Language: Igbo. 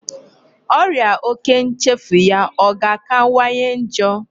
Ọrịa òkè nchefu ya a ga-akawanye njọ?